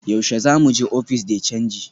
Yaushe za mu je ofis de canji?